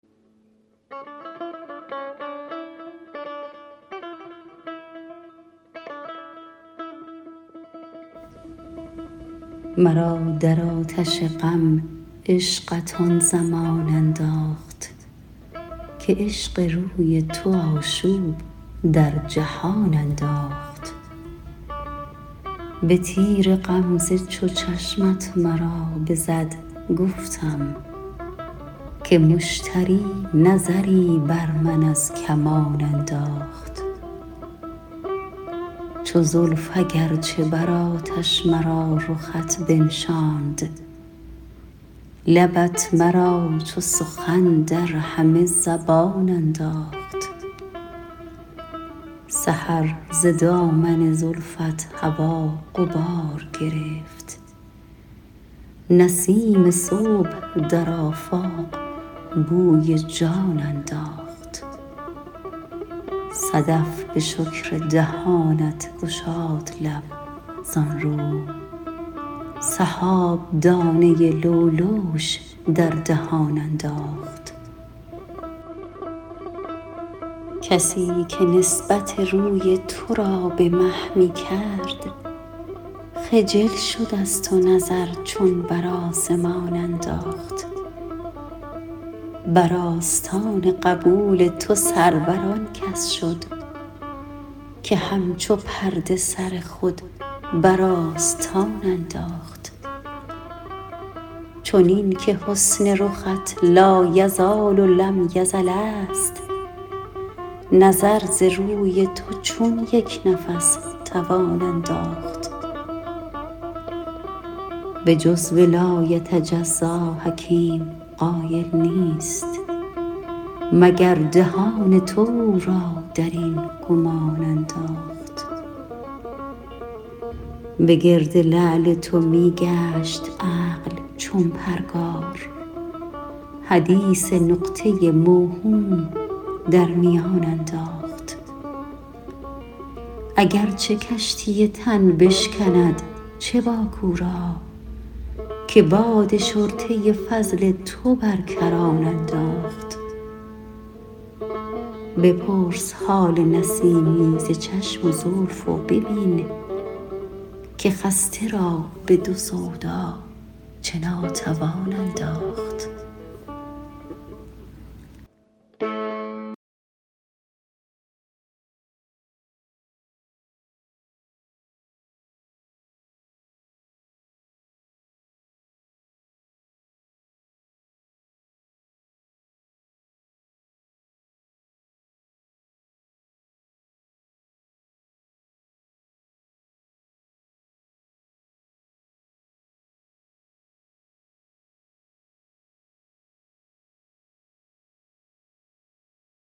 مرا در آتش غم عشقت آن زمان انداخت که عشق روی تو آشوب در جهان انداخت به تیر غمزه چو چشمت مرا بزد گفتم که مشتری نظری بر من از کمان انداخت چو زلف اگرچه بر آتش مرا رخت بنشاند لبت مرا چو سخن در همه زبان انداخت سحر ز دامن زلفت هوا غبار گرفت نسیم صبح در آفاق بوی جان انداخت صدف به شکر دهانت گشاد لب زانرو سحاب دانه لؤلؤش در دهان انداخت کسی که نسبت روی تو را به مه می کرد خجل شد از تو نظر چون بر آسمان انداخت بر آستان قبول تو سرور آن کس شد که همچو پرده سر خود بر آستان انداخت چنین که حسن رخت لایزال و لم یزل است نظر ز روی تو چون یک نفس توان انداخت به جزو لایتجزا حکیم قایل نیست مگر دهان تو او را در این گمان انداخت به گرد لعل تو می گشت عقل چون پرگار حدیث نقطه موهوم در میان انداخت اگرچه کشتی تن بشکند چه باک او را که باد شرطه فضل تو بر کران انداخت بپرس حال نسیمی ز چشم و زلف و ببین که خسته را به دو سودا چه ناتوان انداخت